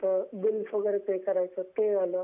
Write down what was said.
काही बिल्स वैगेरे पे करायचं, ते झालं